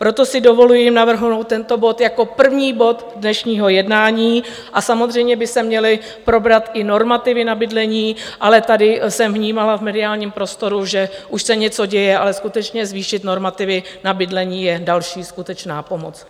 Proto si dovoluji navrhnout tento bod jako první bod dnešního jednání a samozřejmě by se měly probrat i normativy na bydlení, ale tady jsem vnímala v mediálním prostoru, že už se něco děje, ale skutečně, zvýšit normativy na bydlení je další skutečná pomoc.